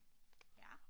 Ja